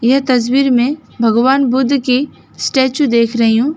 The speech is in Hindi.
यह तस्वीर में भगवान बुद्ध की स्टेचू देख रही हूं।